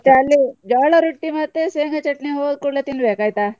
ಮತ್ತೆ ಜೋಳ ರುಟ್ಟಿ ಮತ್ತೆ ಶೇಂಗಾ ಚಟ್ನಿ ಹೋದ್ ಕೂಡ್ಲೆ ತಿನ್ಬೇಕ್ ಆಯ್ತಾ?